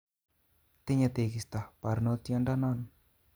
Tinye tekisto barnotyodonon